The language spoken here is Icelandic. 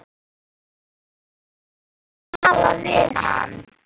Jú jú, viltu tala við hann?